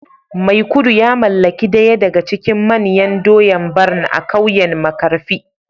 maikudu ya mallaki daya daga cikin manyan doya Barn a kauyen markafi